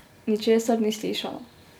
Ničesar ni slišala.